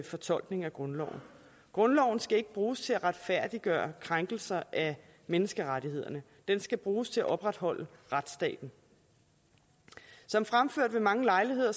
fortolkning af grundloven grundloven skal ikke bruges til at retfærdiggøre krænkelser af menneskerettighederne den skal bruges til at opretholde retsstaten som fremført ved mange lejligheder